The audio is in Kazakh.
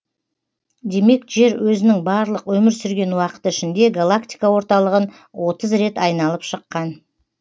демек жер өзінің барлық өмір сүрген уақыты ішінде галактика орталығын отыз рет айналып шыққан